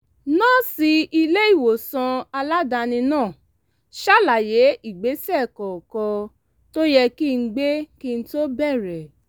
nọ́ọ̀sì ilé-ìwòsàn aládàáni náà ṣàlàyé ìgbésẹ̀ kọ̀ọ̀kan tó yẹ kí n gbé kí n tó bẹ̀rẹ̀